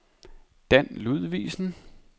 Dan Ludvigsen